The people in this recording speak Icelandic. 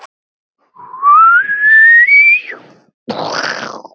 Vel á minnst.